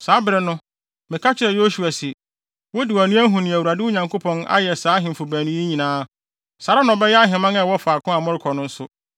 Saa bere no, meka kyerɛɛ Yosua se, “Wode wʼani ahu nea Awurade, wo Nyankopɔn, ayɛ saa ahemfo baanu yi nyinaa. Saa ara na ɔbɛyɛ ahemman a ɛwɔ faako a morekɔ no nso.